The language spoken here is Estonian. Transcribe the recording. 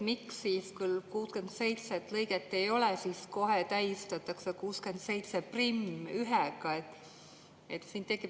Miks siis 67. lõiget ei ole ja kohe täiendatakse lõikega 671?